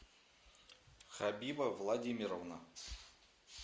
хабиба владимировна